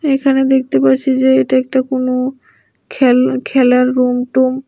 এখানে দেখতে পারছি যে এটা একটা কোনো খেল খেলার রুম টুম।